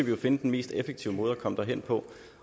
jo finde den mest effektive måde at komme derhen på